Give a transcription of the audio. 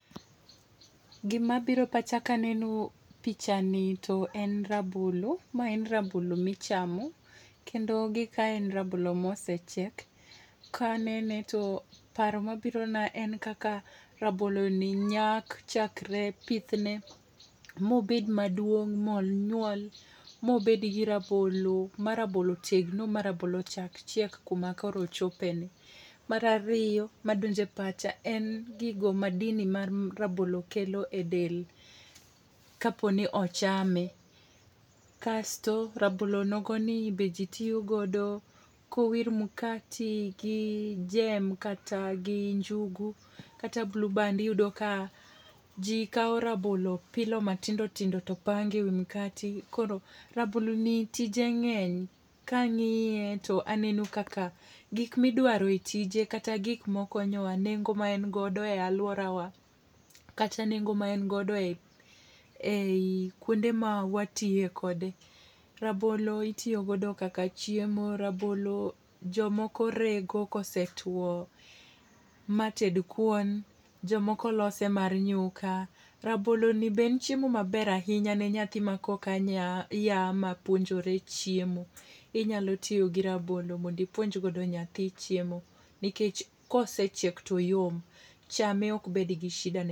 Gima biro pacha ka aneno picha ni to en rabolo. Ma en rabolo michamo. Kendo gika en rabolo ma osechiek. Ka anene to paro mabirona en kaka rabolo ni nyak chakre pithne, mobed maduong', ma onyuol, ma obed gi rabolo, ma rabolo tegno, ma rabolo ochak chiek kuma koro ochopeni. Mar ariyo madonjo e pacha en gigo, madini ma rabolo kelo e del ka po ni ochame. Kasto, rabolo nogoni be ji tiyo godo, kowir mkate gi jam kata gi njugu kata blueband, iyudo ka ji kao rabolo, pilo matindo tindo kaeto pango e wi mkate. Koro rabolo ni tije ngény. Ka angíye to aneno kaka gik ma idwaro e tije, kata gik ma okonyowa, nengo ma en godo e alworawa, kata nengo ma en godo e, ei, kwonde ma watiye kode. Rabolo itiyo godo kaka chiemo. Rabolo jomoko rego kosetwoo mated kuon, jomoko lose mar nyuka. Rabolo ni be en chiemo maber ahinya ne nyathi ma koka nya mapuonjore chiemo. Inyalo tiyo gi rabolo mondo ipuonj godo nyathi chiemo, nikech kose chiek to oyom. Chame ok be d gi shida ne.